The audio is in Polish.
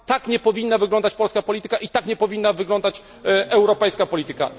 Tak nie powinna wyglądać polska polityka i tak nie powinna wyglądać europejska polityka.